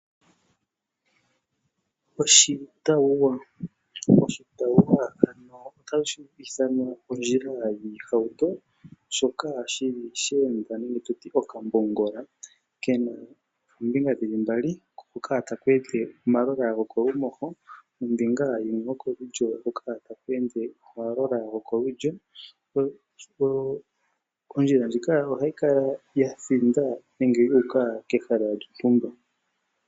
Oshitauwa ondjila yiihauto shoka shili sheenda nenge tutye okambongola kena oombinga dhili mbali hoka taku ende omalola gokolumoho nombunga yimwe yokolulyo hoka taku ende omalola gokolulyo. Ondjila ndjika ohayi kala yathinda nenge yuuka kehala lyontumba.